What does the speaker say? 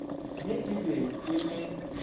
ye e be e le